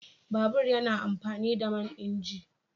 Babur yana amfani da man inji